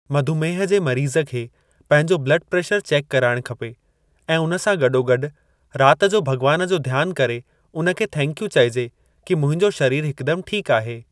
मधुमेह जे मरीज़ खे पंहिंजो ब्लड प्रेशर चेक कराइणु खपे ऐं उन सां गॾोगॾु रात जो भॻवान जो ध्यानु करे उन खे थैंक यू चइजे कि मुंहिंजो शरीरु हिकु दमु ठीक आहे।